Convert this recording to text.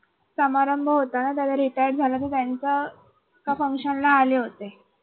समारंभ होता ना. तर ते retired झाल्या तर त्यांचं एका function ला आले होते.